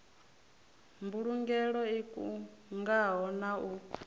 mbulugelo i kungaho na u